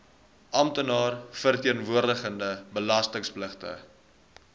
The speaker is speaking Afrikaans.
amptenaar verteenwoordigende belastingpligtige